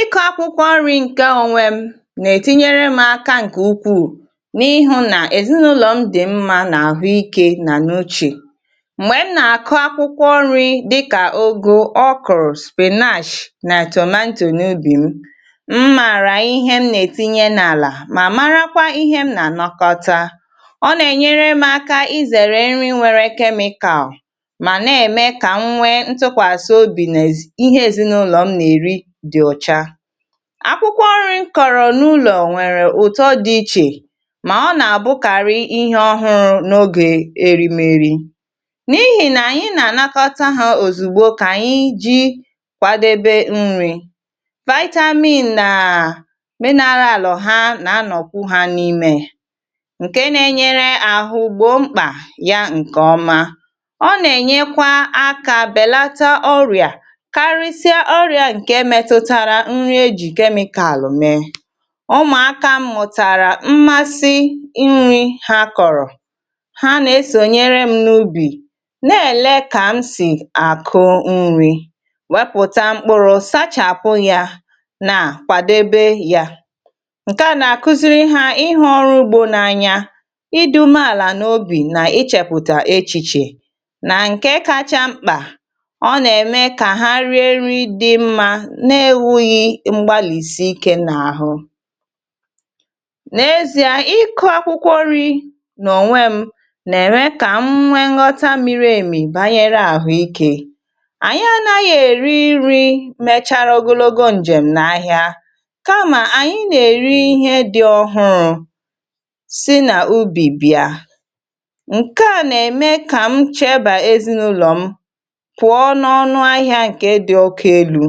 Ịkụ akwụkwọ nri nke onwe m na-ètinyere m aka nke ukwuu n’ihu na ezinụlọ m dị mma na ahụike na n’uche. Mgbè m na-akụ akwụkwọ nri dịkà ụgụ, okoro, spinach na tomato n’ubì m, mmara ihe m na-ètinye m n’ala ma mara kwa ihe m na anọkọta, ọ na-ènyere m aka izèrè nri nwere chemical ma na-eme ka m nwee ntụkwasịobi n’ihe ezinụlọ m n’eri dị ọcha. Akwụkwọ nri kọrọ n’ụlọ nwèrè ụtọ dị iche, ma ọ na-àbụkarị ihe ọhụrụ n’ogè erimeri, n’ihi na anyị na-ànakọta ha òzùgbo ka anyị ji kwadebe nri, vitamin na mineral ha na-anọkụ ha n’ime, nke na-ènyere ahụ gbọ mkpa ya nke ọma, o na-ènyekwa aka belata oria karisie oria nke metụtara nri eji chemical eme. Umuaka m mụtara mmasi nri ha koro, ha na-eso nyere m n’ubì n’ele ka m si akụ nri, kwepụta mkpụrụ sachapụ ya, na-kwadebe ya. Nke a na-akụziri ha ihu olugbo n’anya, i dị ume ala n’obì na ịchèpụta echìchè na nke kacha mkpa, ọ na-eme ka ha rie nri dị mma na-enweghi mgbalisi ike n’ahụ. N’ezi a, ịkụ akwụkwọ nri na ònwe m na-eme ka m nwee nghọta mịrị emi banyere ahụike. Anyị anaghị èri nri mechara ogologo njèm n’ahịa kam anyị na-èri ihe dị ọhụrụ si na ubì bia nke a na-eme ka m cheba ezinụlọ m pụọ n’ọnụ ahịa nke dị oke elu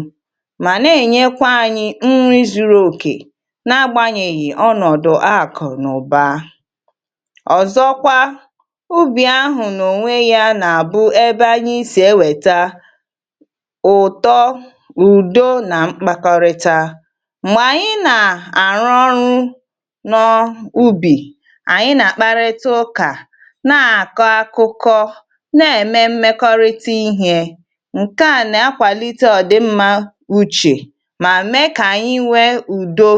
ma na-ènyekwa anyị nri zuru oke na-agbanyèghi ọnọdụ akụnaụba. Ọzọkwa, ubì ahụ na-ònwe ya na-abụ ebe anyị si ewèta ụtọ, ụdọ na mkpakọrịta. Mgbè anyị na-arụ ọrụ n’ubì, anyị na-akparịta ụkà na-akọ akụkọ na-eme mmekọrịta ihe, nke a na-akwalite ọ dị mma uche ma mee ka anyị nwee udo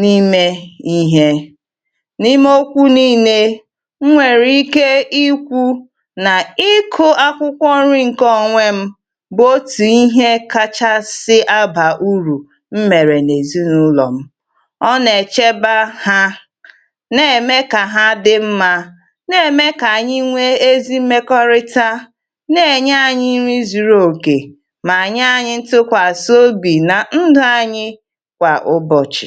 n’ime ihe. N’ime okwu niile enwere ike ikwu, na ịkụ akwụkwọ nri nke onwe m bụ otu ihe kachasị abà urù m mẹrị n’ezinụlọ m, ọ na-echeba ha, na-eme ka ha dị mma, na-eme ka anyị nwee ezi mmekọrịta, na-ènye anyị nri zuru òkè, ma nye anyị ntụkwasị obì na ndụ anyị kwa ụbọchị.